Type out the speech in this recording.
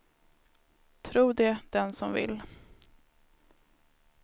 Tro det den som vill.